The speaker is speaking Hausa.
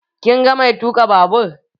Kin ga mai tuka babur?